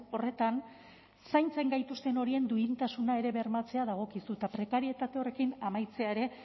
horretan zaintzen gaituzten horien duintasuna ere bermatzea dagokizu eta prekarietate horrekin amaitzea ere